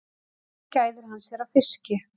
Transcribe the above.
Hér gæðir hann sér á fiski.